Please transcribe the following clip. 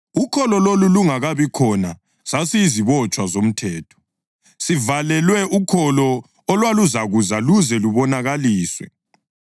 Ukholo + 3.23 ukukholwa kuJesu Khristu lolu lungakabi khona sasiyizibotshwa zomthetho, sivalelwe ukholo olwaluzakuza luze lubonakaliswe.